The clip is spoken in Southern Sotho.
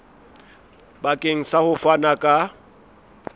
bakeng sa ho fana ka